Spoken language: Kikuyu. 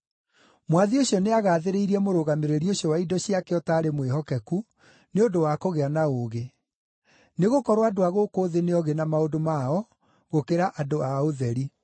“Mwathi ũcio nĩagathĩrĩirie mũrũgamĩrĩri ũcio wa indo ciake ũtaarĩ mwĩhokeku nĩ ũndũ wa kũgĩa na ũũgĩ. Nĩgũkorwo andũ a gũkũ thĩ nĩ oogĩ na maũndũ mao gũkĩra andũ a ũtheri.